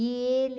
E ele...